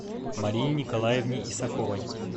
марине николаевне исаковой